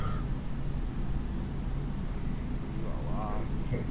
এ বাবা